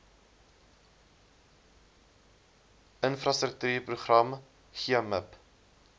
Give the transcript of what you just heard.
infrastruktuur program gmip